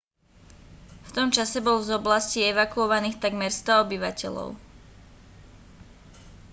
v tom čase bolo z oblasti evakuovaných takmer 100 obyvateľov